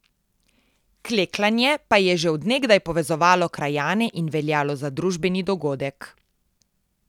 Klekljanje pa je že od nekdaj povezovalo krajane in veljalo za družabni dogodek.